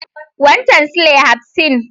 Wancen silai hafsin?